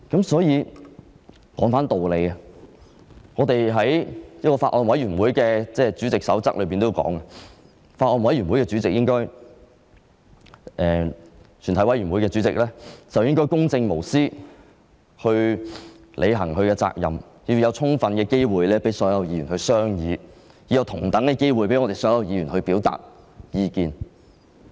所以，把話說回到道理上去，在《法案委員會主席手冊》中提到，主席應公正無私地履行職責，並確保所有議員有充分機會商議，有同等的機會讓所有議員表達意見。